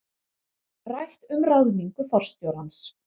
Rætt um ráðningu forstjórans